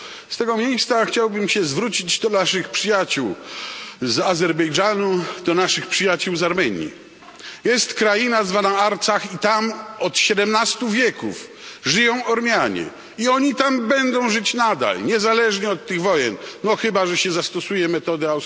Z tego miejsca chciałbym się zwrócić do naszych przyjaciół z Azerbejdżanu, do naszych przyjaciół z Armenii jest kraina zwana Arcach i tam od siedemnastu wieków żyją Ormianie, i oni tam będą żyć nadal niezależnie od tych wojen, no chyba że się zastosuje metodę